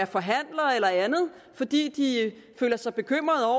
forhandlere eller andet fordi de er bekymrede